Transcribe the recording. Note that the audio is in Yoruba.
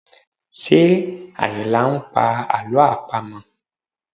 Ṣé Ayinla ń pa àlọ́ àpamọ̀?